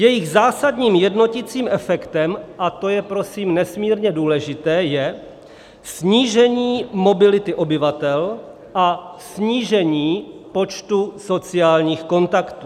Jejich zásadním jednoticím efektem, a to je prosím nesmírně důležité, je snížení mobility obyvatel a snížení počtu sociálních kontaktů.